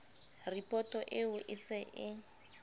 ripoto eo e se e